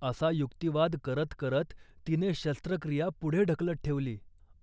करा असा युक्तिवाद करत करत तिने शस्त्रक्रिया पुढे ढकलत ठेवली.